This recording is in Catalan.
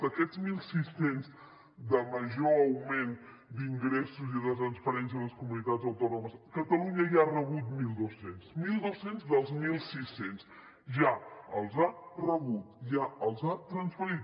d’aquests mil sis cents de major augment d’ingressos i de transferències a les comunitats autònomes catalunya ja n’ha rebut mil dos cents mil dos cents dels mil sis cents ja els ha rebut ja els ha transferit